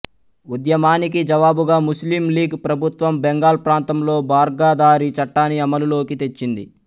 ఉద్యమానికి జవాబుగా ముస్లిం లీగ్ ప్రభుత్వం బెంగాల్ ప్రాంతంలో బార్గదారీ చట్టాన్ని అమలులోకి తెచ్చింది